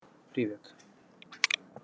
привет